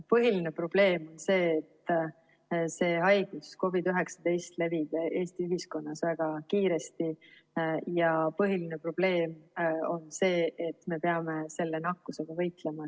Põhiline probleem on see, et see haigus, COVID-19, levib Eesti ühiskonnas väga kiiresti, ja põhiline probleem on see, et me peame selle nakkusega võitlema.